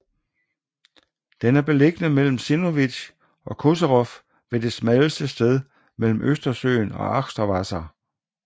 Den er beliggende mellem Zinnowitz og Koserow ved det smalleste sted mellem Østersøen og Achterwasser